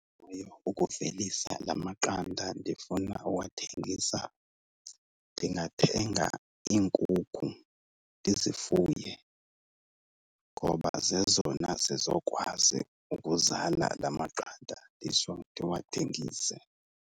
ukuvelisa laa maqanda ndifuna uwathengisa. Ndingathenga iinkukhu ndizifuye ngoba zezona zizokwazi ukuzala laa maqanda nditsho ndiwathengise.